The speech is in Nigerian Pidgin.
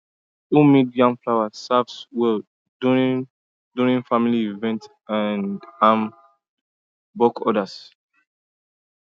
homemade yam flour serves well during during family events and bulk orders